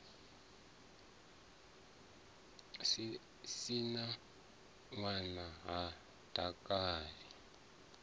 si na ṋwana ha takali